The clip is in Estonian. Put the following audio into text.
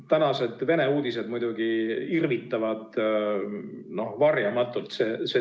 Tänased Vene uudised muidugi irvitavad varjamatult.